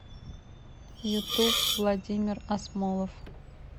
ютуб владимир асмолов